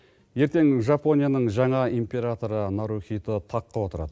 ертең жапонияның жаңа императоры нарухито таққа отырады